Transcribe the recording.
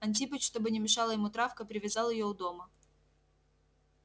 антипыч чтобы не мешала ему травка привязал её у дома